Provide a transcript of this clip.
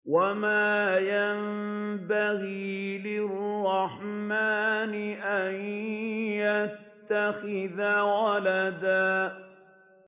وَمَا يَنبَغِي لِلرَّحْمَٰنِ أَن يَتَّخِذَ وَلَدًا